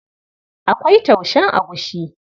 Akwai taushen agushi.